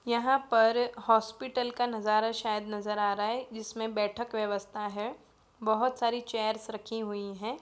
यहाँ पर हॉस्पिटल का नजारा शायद नजर आ रहा है जिसमे बैठक व्यवस्था है| बहुत सारी चेयर्स रखी हुई है।